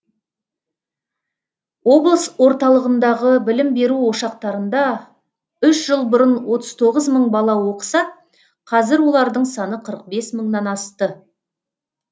облыс орталығындағы білім беру ошақтарында үш жыл бұрын отыз тоғыз мың бала оқыса қазір олардың саны қырық бес мыңнан асты